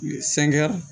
Sɛngɛ